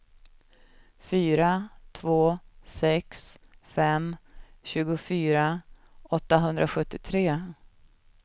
fyra två sex fem tjugofyra åttahundrasjuttiotre